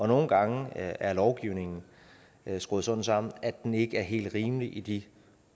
nogle gange er lovgivningen skruet sådan sammen at den ikke er helt rimelig i de